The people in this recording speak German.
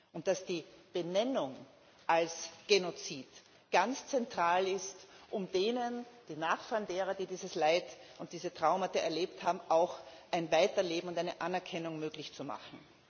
und dass die Benennung als Genozid ganz zentral ist, um den Nachfahren derer, die dieses Leid und diese Traumata erlebt haben, auch ein Weiterleben und eine Anerkennung möglich zu machen.